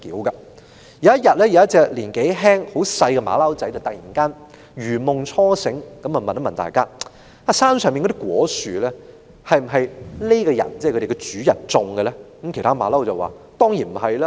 有一天，有一隻年紀輕的小猴子突然如夢初醒，問大家："山上那些果樹是否這個主人所種植的呢？